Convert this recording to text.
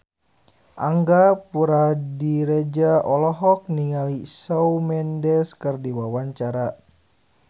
Angga Puradiredja olohok ningali Shawn Mendes keur diwawancara